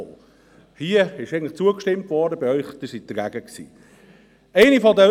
Hier wurde eigentlich zugestimmt, aber Sie waren dagegen.